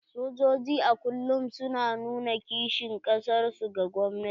Sojoji a kullum su na nuna kishin kasar su ga gwamnati.